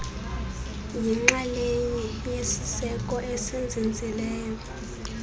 yixalenye yesiseko esinzinzileyo